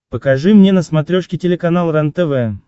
покажи мне на смотрешке телеканал рентв